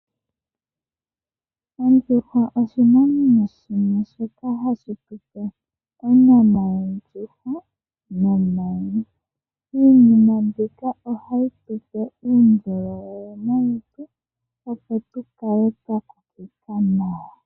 Ondjuhwa oshinamwenyo shimwe shoka hashitupe onyama yondjuhwa, nomayi. Iinima mbika ohayi tupe uundjolowele molutu, opo tukale twakokekwa nawa.